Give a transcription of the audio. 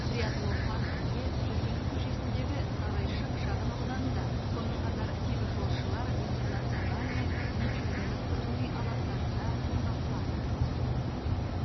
триатлон паркінде жүргенов көшесіндегі сарайшық шағын ауданында сонымен қатар теміржолшылар интернациональный мичурино тұрғын үй алаптарында орнатылады